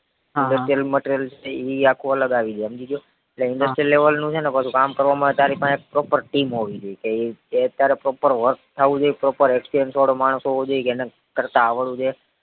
industrial material જે છે ઈ આખું અલગ આવી જાય હમજી ગયો એટલે industrial level નું છે ને પાછુ કામ કરવામાં તારી પાહે proper team હોવી જોઈએ કે ઈ ઈ proper work થાવું જોઈએ proper experience વાળો માણસ હોવો જોઈએ કે કરતા આવડવું જોઈએ